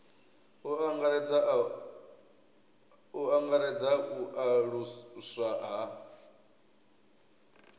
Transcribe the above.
u angaredza u aluswa ha